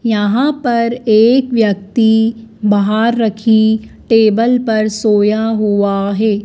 यहां पर एक व्यक्ति बाहर रखी टेबल पर सोया हुआ है।